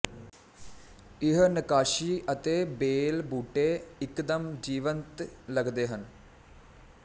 ਇਹ ਨੱਕਾਸ਼ੀ ਅਤੇ ਬੇਲ ਬੂਟੇ ਇੱਕਦਮ ਜੀਵੰਤ ਲੱਗਦੇ ਹਨ